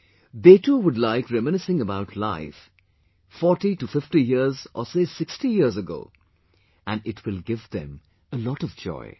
They too will like reminiscing about life 40 to 50 years or say 60 years ago and it will give them a lot of joy